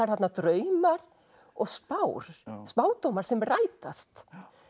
þarna draumar og spár spádómar sem rætast